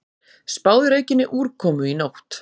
Spáð er aukinni úrkomu í nótt